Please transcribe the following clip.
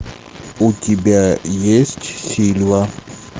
у тебя есть сильва